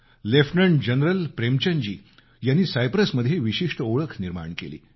lieutenant general Premchand ji यांनी सायप्रसमध्ये विशिष्ट ओळख निर्माण केली